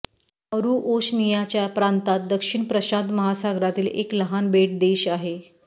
Nauru ओशनियाच्या प्रांतात दक्षिण प्रशांत महासागरातील एक लहान बेट देश आहे